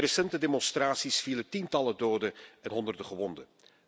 Bij recente demonstraties vielen tientallen doden en honderden gewonden.